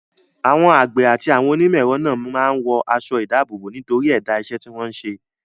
Àwọn àgbẹ̀ àti àwọn onímọ̀-ẹ̀rọ náà máa ń wọ aṣọ-ìdáàbòbò nítorí ẹ̀dá iṣẹ́ tí wọ́n ń ṣe.